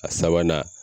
A sabanan